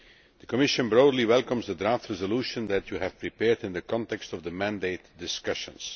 The Commission broadly welcomes the draft resolution that you have prepared in the context of the mandate discussions.